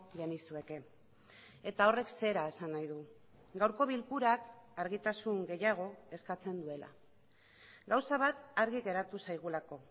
genizueke eta horrek zera esan nahi du gaurko bilkurak argitasun gehiago eskatzen duela gauza bat argi geratu zaigulako